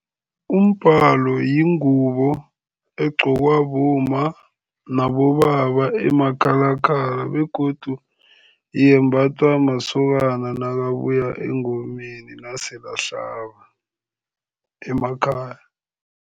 Umbhalo yingubo egqokwa bomma nabobaba emakhakhala begodu yembathwa masokana nakabuya engomeni naselahlaba emakhaya.